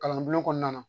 Kalan bulon kɔnɔna na